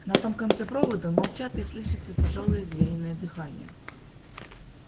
на том конце провода молчат и слышится тяжёлое звериное дыхание